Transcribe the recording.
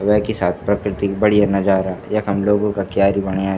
वेकि साथ प्रकृति क बढ़िया नजारा यखम लोगो का क्यारी बण्या --